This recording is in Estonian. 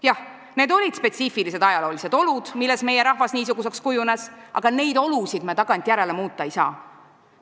Jah, need olid spetsiifilised ajaloolised olud, milles meie rahvas niisuguseks kujunes, aga neid olusid me tagantjärele muuta ei saa.